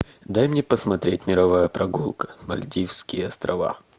дай мне посмотреть мировая прогулка мальдивские острова